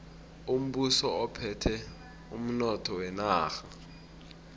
umbuso uphethe umnotho wenarha